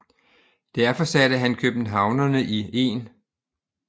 Derfor satte han københavnerne i 1